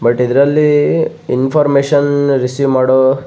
but ಇದ್ರಲ್ಲಿ ಇನ್ಫೊರ್ಮೇಷನ್ನ್ receive ಮಾಡೊ --